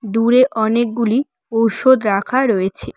দূরে অনেকগুলি ওষুধ রাখা রয়েছে।